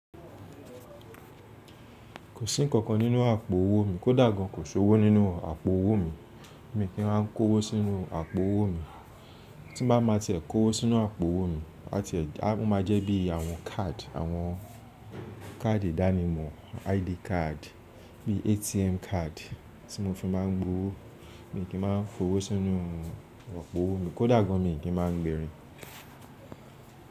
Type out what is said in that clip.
Kò sí ǹkankan nínú àpò owó mi, kò dà gan, kò sí owó nínú àpò owó mi, mi kì í máa ń kó owó sínú àpò owó mi. Tí bá máa tiẹ̀ kó owó sínú àpò owó mi, a tiẹ̀, a máa jẹ́ bí àwọn card, àwọn káàdì ìdánimọ̀, ID card, bí ATM card tí mo fi máa ń gbọ owó, mi kì í máa ń fowó sínú àpò owó mi, kó dàgbà mi kì í máa ń gbèrín.